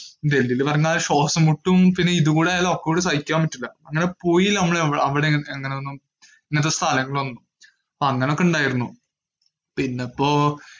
ഡൽഹിയിൽ പറഞ്ഞ പിന്നെ ശ്വാസം മുട്ടും പിന്നെ ഇതുംകൂടി അയാൾ, ഒക്കെ കൂടി സഹിക്കാൻ പറ്റൂല. അങ്ങനെ പോയില്ല നമ്മൾ അവിടെ ഒന്നും, ഇങ്ങനത്തെ സ്ഥലങ്ങളിൽ ഒന്നും.